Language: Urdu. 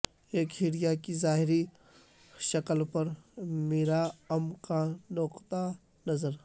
ایک ہیریا کی ظاہری شکل پر میراام کا نقطہ نظر